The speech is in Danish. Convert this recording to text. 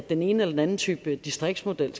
den ene eller den anden type distriktsmodel